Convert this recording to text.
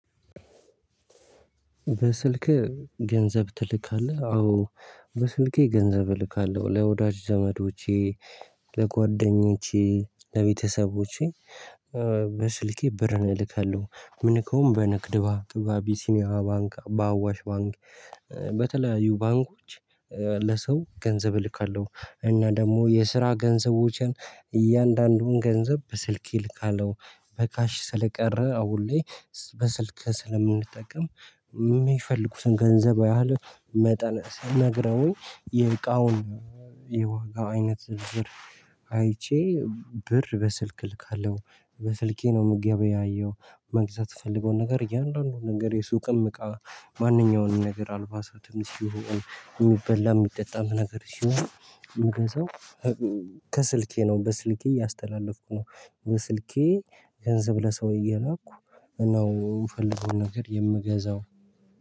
በስልክህ ገንዘብ ትልካለህ አዎ በስልኬ ገንዘብ እልካለሁ ለወዳጅ ዘመዶቼ ለጓደኞቼ ለቤተሰቦቼ። በስልኬ ብርን እልካለሁ ምልከውም በንግድ ባንክ በአቢሲኒያ ባንክ በአዋሽ ባንክ። በተለያዩ ባንኮች ለሰው ገንዘብ እልካለሁ። እና ደግሞ የስራ ገንዘቦችን እያንዳንዱን ገንዘብ በስልኬ ልካለው በካሽ ስለቀረ አሁን ላይ። በስልክ ስለምንጠቀም የሚፈልጉትን ገንዘብ ያህል መጠን ስነግረውኝ። የዋጋው አይነት ብር አይቼ ብር በስልክ እልካለሁ። በስልኬ ነው ምገበያየው። መግዛት የተፈለገው ነገር እያንዳንዱን ነገር የሱቅም እቃ ማንኛውንም ነገር አልባሳትም ይሁን የሚበላ የሚጠጣም ነገር ሲሆን ምገዛው። ከስልኬ ነው በስልኬ እያስተላለፍኩ ነው። በስልኬ ገንዘብ ለሰው እየላኩ ነው የምፈልገው ነገር የምገዛው